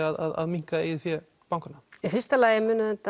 að minnka eigið fé bankanna í fyrsta lagi